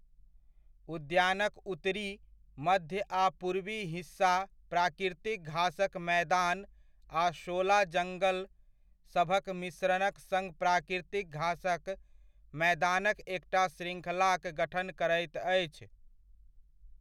उद्यानक उत्तरी, मध्य आ पूर्वी हिस्सा प्राकृतिक घासक मैदान आ शोला जङ्गल सभक मिश्रणक सङ्ग प्राकृतिक घासक मैदानक एकटा श्रृङ्खलाक गठन करैत अछि।